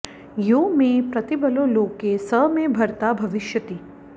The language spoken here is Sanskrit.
यो मे प्रतिबलो लोके स मे भर्ता भविष्यति